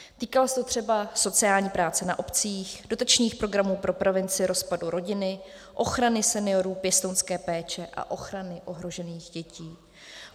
Týkalo se to třeba sociální práce na obcích, dotačních programů pro prevenci rozpadu rodiny, ochrany seniorů, pěstounské péče a ochrany ohrožených dětí.